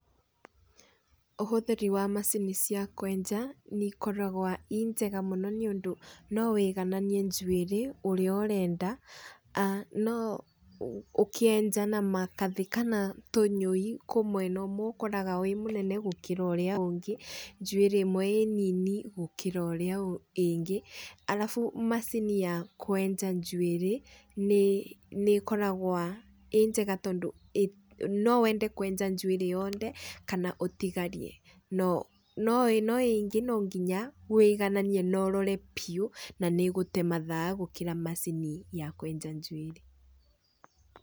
Ũhũthĩri wa macini cia kwenja, nĩikoragwo i njega mũno nĩundũ no ũigananie njwĩrĩ ũrĩa ũrenda. No ũkĩenja na magathĩ kana tũnyũi kwĩ mwena ũmwe ũkoraga wĩ mũnene gũkĩra ũrĩa ũngĩ, njwĩrĩ ĩrĩa ĩmwe ĩĩ nini gũkĩra ĩrĩa ĩngĩ. Alafu macini ya kwenja njwĩrĩ, nĩĩkoragwo ĩĩ njega tondũ no wende kwenja njwĩrĩ yothe, kana ũtigarie. No ĩno ĩngĩ no nginya ũigananie na ũrore biũ, na nĩ ĩgũte mathaa kurĩ macini ya kwenja njwĩrĩ.